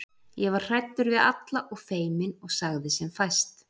Ég var hræddur við alla og feiminn og sagði sem fæst.